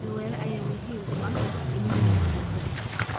Beero waara ayaa muhiim u ah dhimista gaajada.